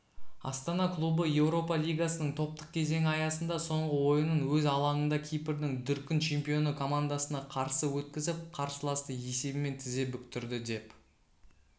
астана клубы еуропа лигасының топтық кезеңі аясында соңғы ойынын өз алаңындакипрдің дүркін чемпионы командасына қарсы өткізіп қарсыласты есебімен тізе бүктірді деп